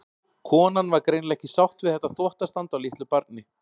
Konan var greinilega ekki sátt við þetta þvottastand á litlu barni.